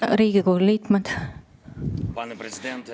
Riigikogu liikmed!